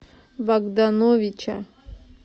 богдановича